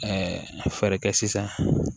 fɛɛrɛ kɛ sisan